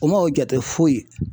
O ma o jate foyi ye